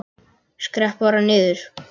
Skrepp bara niður.